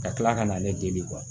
Ka tila ka n'ale dege